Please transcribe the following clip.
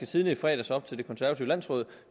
tidende i fredags op til det konservative landsråd